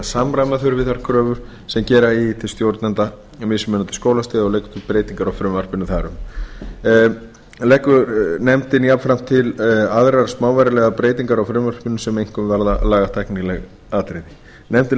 samræma þurfi þær kröfur sem gera eigi til stjórnenda mismunandi skólastiga og leggur til breytingar á frumvarpinu þar um leggur nefndin jafnframt til aðrar smávægilegar breytingar á frumvarpinu sem einkum varða lagatæknileg atriði nefndin leggur til að